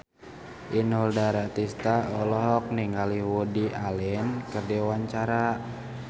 Inul Daratista olohok ningali Woody Allen keur diwawancara